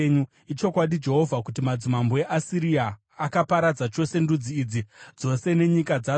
“Ichokwadi, Jehovha, kuti madzimambo eAsiria akaparadza chose ndudzi idzi dzose nenyika dzadzo.